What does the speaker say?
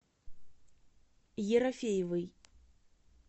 ерофеевой